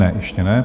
Ne, ještě ne.